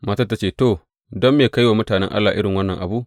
Matar ta ce, To, don me ka yi wa mutanen Allah irin wannan abu?